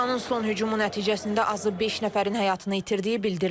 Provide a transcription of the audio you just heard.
İranın son hücumu nəticəsində azı beş nəfərin həyatını itirdiyi bildirilir.